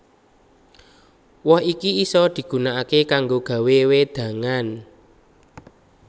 Woh iki isa digunakaké kanggo gawé wédangan